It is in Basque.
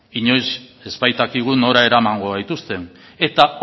inoiz ez baitakigu nora eramango gaituzten eta